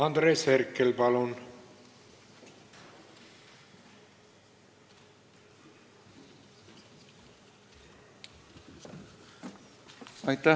Andres Herkel, palun!